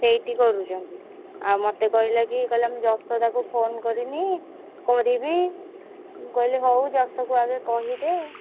ସେଇଠି କରୁଛନ୍ତି। ଆଉ ମତେ କହିଲା କି କହିଲା ମୁଁ ଯଶୋଦା କୁ phone କରିନି କରିବି ମୁଁ କହିଲି ହଉ ଯଶୋକୁ ଆଗେ କହିଦେ।